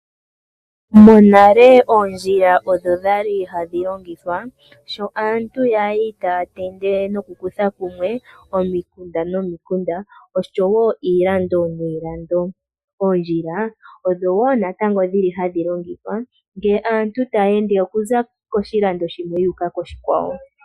Monale oondjila odho dha li hadhi longithwa sho aantu ya li taya tende nokukutha kumwe omikunda nomikunda, oshowo iilando niilando. Oondjila odho wo natango hadhi longithwa ngele aantu taya ende okuza koshilando shimwe okuya koshikwawo.